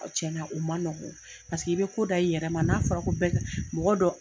a cɛna ma nɔgɔ paseke i be ko da i yɛrɛ ma n'a fɔra ko bɛɛ ka mɔgɔ dɔ